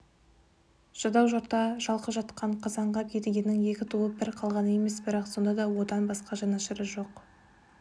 жадау жұртта жалқы жатқан қазанғап едігенің екі туып бір қалғаны емес бірақ сонда да одан басқа жанашыры жоқ